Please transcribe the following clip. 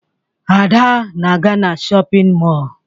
Ada na-aga na shọpịn mọọ